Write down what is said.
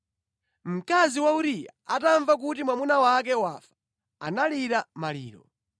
Mkazi wa Uriya atamva kuti mwamuna wake wafa, analira maliro.